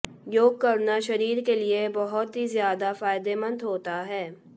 योग करना शरीर के लिए बहुत ही ज्यादा फायदेमंद होता है